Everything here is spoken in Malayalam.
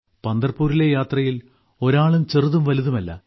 പന്തർപൂരിലെ യാത്രയിൽ ഒരാളും ചെറുതും വലുതുമല്ല